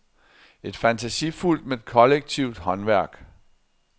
Et fantasifuldt men kollektivt håndværk.